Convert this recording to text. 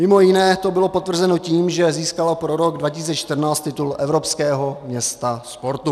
Mimo jiné to bylo potvrzeno tím, že získala pro rok 2014 titul Evropského města sportu.